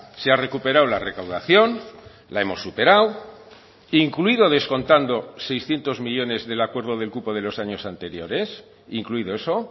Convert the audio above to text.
se ha recuperado la recaudación la hemos superado incluido descontando seiscientos millónes del acuerdo del cupo de los años anteriores incluido eso